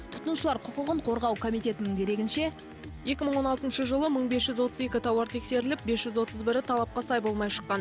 тұтынушылар құқығын қорғау комитетінің дерегінше екі мың он алтыншы жылы мың бес жүз отыз екі тауар тексеріліп бес жүз отыз бірі талапқа сай болмай шыққан